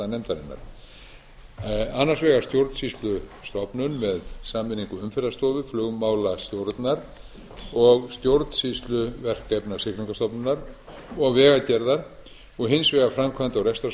einn valkosta nefndarinnar annars vegar stjórnsýslustofnun með sameiningu umferðarstofu flugmálastjórnar og stjórnsýsluverkefna siglingastofnunar og vegagerðar og hins vegar framkvæmda og